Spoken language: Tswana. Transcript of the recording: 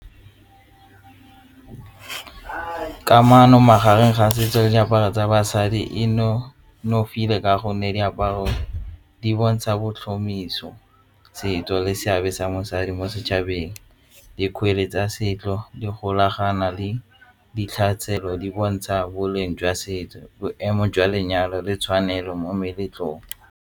Kamano magareng ga setso le diaparo tsa basadi e nonofileka gonne diaparo di bontsha bo setso seabe sa mosadi mo setšhabeng dikgwele tsa setso di golagana le ditlhare tshelo di bontsha boleng jwa setso boemo jwa lenyalo le tshwanelo mo meletlong.